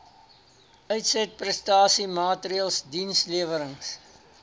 uitsetprestasie maatreëls dienslewerings